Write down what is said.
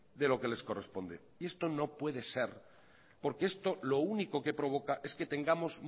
de lo que les corresponde esto no puede ser porque esto lo único que provoca es que tengamos